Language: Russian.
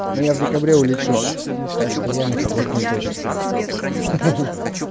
но я в декабре улечу так что я не всплакну точно